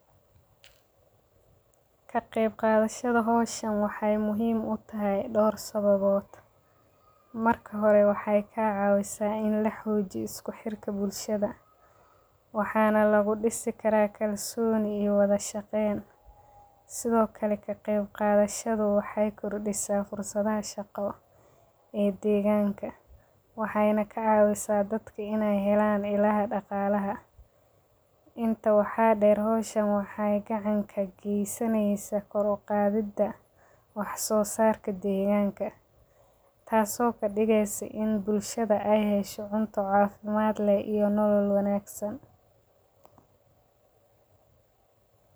Kaqeb qadashada hoshan waxee muhiim utahay door sababod, marka horee wexey ka cawisaa in laxojiyo iskuxirka bulshaada, waxana lagu disi karaa kalsoni iyo wadha shaqen, sitho kalee kaqeeb qadhashadu waxey kordisa fursadaha shaqo ee deganka, wexey na kacawisaa dadka iney Helan daqalaha, intaa waxa deer howshan wexee gacan ka gesaneysa koor u qadhida wax sosarka deganka, taso kadigeysa in bulshaada ee hesho cunto cafimaad leh iyo nolol wanagsan.